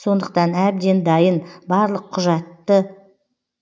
сондықтан әбден дайын барлық